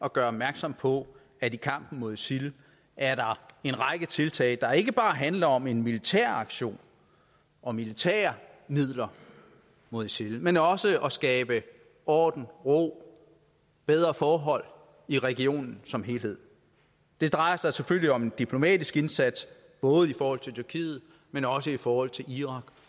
at gøre opmærksom på at i kampen mod isil er der en række tiltag der ikke bare handler om en militær aktion og militære midler mod isil men også om at skabe orden ro og bedre forhold i regionen som helhed det drejer sig selvfølgelig om en diplomatisk indsats både i forhold til tyrkiet men også i forhold til irak